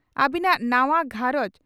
ᱟᱹᱵᱤᱱᱟᱜ ᱱᱟᱣᱟ ᱜᱷᱟᱸᱨᱚᱡᱽ